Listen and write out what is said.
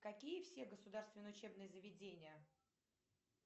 какие все государственные учебные заведения